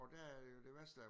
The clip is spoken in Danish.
Og der er jo det værste er